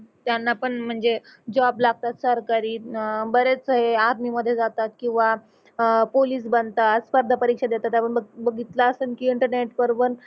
त्यांना पण म्हणजे जॉब लागतात सरकारी अह बरेच हे आर्मी मध्ये जातात किंवा अह पोलीस बनतात स्पर्धा परीक्षा देतात आपण बघितल असन की इंटरनेट वर पण